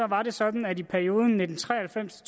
var det sådan at i perioden nitten tre og halvfems